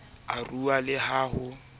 e rua le ha ho